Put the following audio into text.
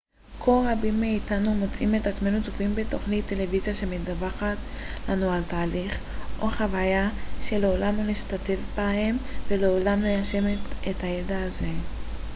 כה רבים מאיתנו מוצאים את עצמנו צופים בתוכנית טלוויזיה שמדווחת לנו על תהליך או חוויה שלעולם לא נשתתף בהם ולעולם לא ניישם את הידע הזה